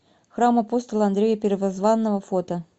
храм апостола андрея первозванного фото